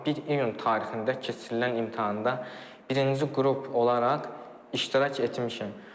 Bir iyun tarixində keçirilən imtahanda birinci qrup olaraq iştirak etmişəm.